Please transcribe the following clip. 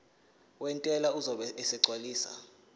wentela uzobe esegcwalisa